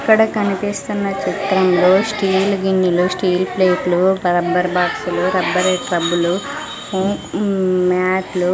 ఇక్కడ కనిపిస్తున్న చిత్రంలో స్టీల్ గిన్నెలు స్టీల్ ప్లేట్లు రబ్బర్ బాక్సులు రబ్బర్ స్క్రబ్బులు ఉమ్ మ్యాట్ లు --